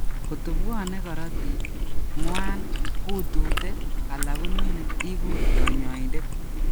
Koto bwone korotik, ng'wan, utute, ala konune ikuur kanyoindet